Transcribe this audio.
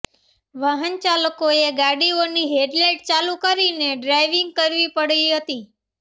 વાહનચાલકોએ ગાડીઓની હેડલાઈટ ચાલુ કરીને ડ્રાઈવિંગ કરવી પડી હતી